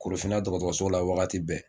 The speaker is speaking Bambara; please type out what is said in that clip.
Korofina dɔgɔtɔrɔso la wagati bɛɛ